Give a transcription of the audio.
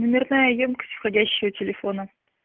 номерная ёмкость входящего телефона